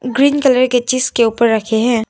Green colour के चीज के ऊपर रखे हैं।